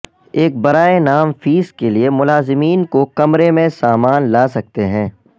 ایک برائے نام فیس کے لئے ملازمین کو کمرے میں سامان لا سکتے ہیں